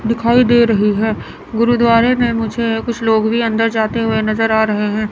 दिखाई दे रही है गुरुद्वारे में मुझे कुछ लोग भी अंदर जाते हुए नजर आ रहे हैं।